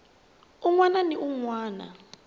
wun wana ni wun wana